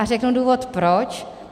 A řeknu důvod proč.